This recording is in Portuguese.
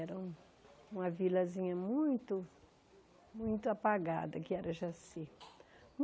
Era um uma vilazinha muito, muito apagada, que era Jaci.